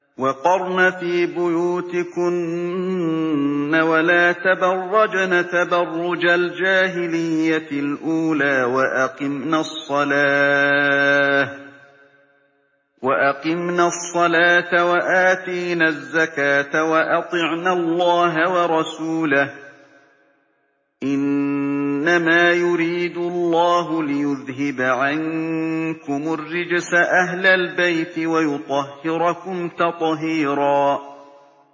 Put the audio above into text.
وَقَرْنَ فِي بُيُوتِكُنَّ وَلَا تَبَرَّجْنَ تَبَرُّجَ الْجَاهِلِيَّةِ الْأُولَىٰ ۖ وَأَقِمْنَ الصَّلَاةَ وَآتِينَ الزَّكَاةَ وَأَطِعْنَ اللَّهَ وَرَسُولَهُ ۚ إِنَّمَا يُرِيدُ اللَّهُ لِيُذْهِبَ عَنكُمُ الرِّجْسَ أَهْلَ الْبَيْتِ وَيُطَهِّرَكُمْ تَطْهِيرًا